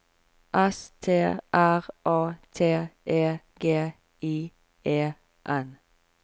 S T R A T E G I E N